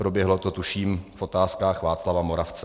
Proběhlo to, tuším, v Otázkách Václava Moravce.